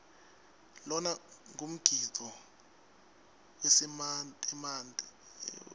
lona ngumgidvo wesimantemante